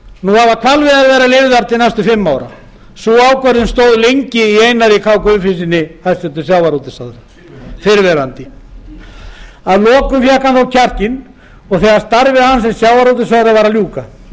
nú hafa hvalveiðar verið leyfðar til næstu fimm ára sú ákvörðun stóð lengi í einari k guðfinnssyni hæstvirtur sjávarútvegsráðherra fyrrverandi fyrrverandi að lokum fékk hann þó kjarkinn þegar starfi hans sem sjávarútvegsráðherra var að ljúka